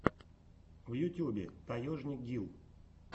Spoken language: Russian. в ютубе таежник гил